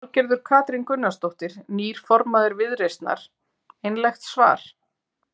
Þorgerður Katrín Gunnarsdóttir, nýr formaður Viðreisnar: Einlægt svar?